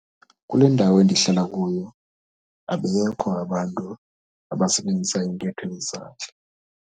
Kule ndawo endihlala kuyo abekho abantu abasebenzisa intetho yezandla.